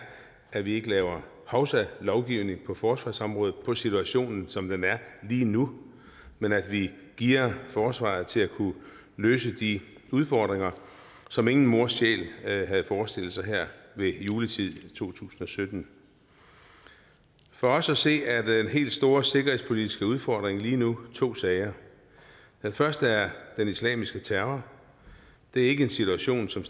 at vi ikke laver hovsalovgivning på forsvarsområdet på situationen som den er lige nu men at vi gearer forsvaret til at kunne løse de udfordringer som ingen mors sjæl havde havde forestillet sig her ved juletid i to tusind og sytten for os at se er den helt store sikkerhedspolitiske udfordring lige nu to sager den første er den islamiske terror det er ikke en situation som